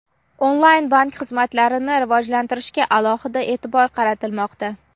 onlayn bank xizmatlarini rivojlantirishga alohida e’tibor qaratilmoqda.